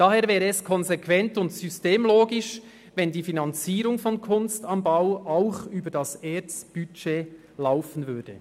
Daher wäre es konsequent und systemgerecht, wenn die Finanzierung von «Kunst am Bau» auch über das Budget der ERZ erfolgen würde.